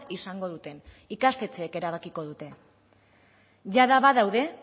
izango duten ikastetxeek erabakiko dute jada badaude